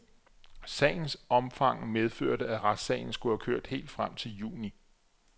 Sagens omfang medførte, at retssagen skulle have kørt helt frem til juni.